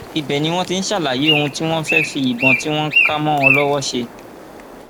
ibẹ ni wọn ti ń ṣàlàyé ohun tí wọn fẹẹ fi ìbọn tí wọn kà mọ wọn lọwọ ṣe